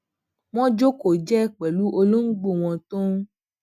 wón jókòó jéé pèlú olóngbò wọn tó ń